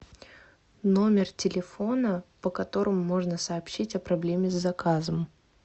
номер телефона по которому можно сообщить о проблеме с заказом